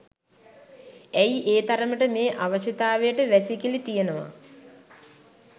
ඇයි ඒ තරමට මේ අවශ්‍යතාවයට වැසිකිලි තියනවා.